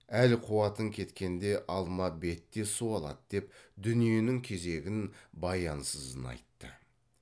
әл қуатың кеткенде алма бет те суалады деп дүниенің кезегін баянсызын айтты